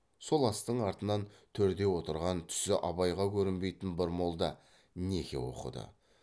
сол астың артынан төрде отырған түсі абайға көрінбейтін бір молда неке оқыды